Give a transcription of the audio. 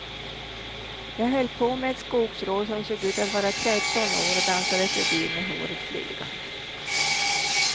Jag höll på med ett skogsrå som såg ut att vara tretton år och dansade förbi med håret flygande.